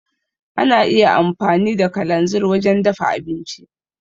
Ana iya amfani da kalanzir wajen dafa abinci.